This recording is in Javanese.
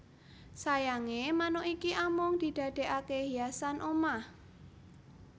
Sayange manuk iki amung didadekake hiasan omah